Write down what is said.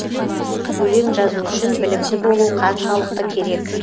өлең жазу үшін білімді болу қаншалықты керек